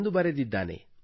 ಎಂದು ಬರೆದಿದ್ದಾನೆ